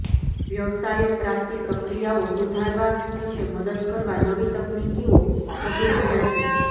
વ્યવસાયો પ્રાપ્તિ પ્રક્રિયાઓ સુધારવા તેમને મદદ કરવા નવી તકનીકીઓ શોધી રહ્યા છે